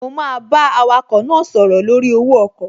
Mo máa bá awakọ̀ náà sọ̀rọ̀ lórí owó ọkọ̀